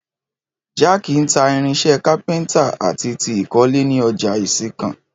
Jídé ń ta irinṣẹ́ kápẹ́ntà àti ti ìkọ́lé ní ọjà Ìsìnkàn